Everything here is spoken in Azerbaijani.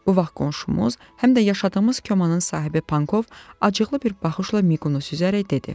Bu vaxt qonşumuz, həm də yaşadığımız Komanın sahibi Pankov acıqlı bir baxışla Miqqunu süzərək dedi: